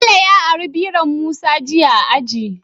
Bello ya ari biron musa jiya a aji